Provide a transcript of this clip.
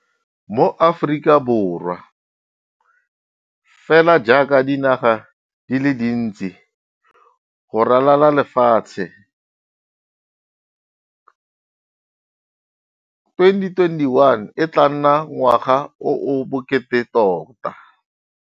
Mo Aforika Borwa, fela jaaka dinaga di le dintsi go ralala lefatshe, 2021 e tla nna ngwaga o o bokete tota.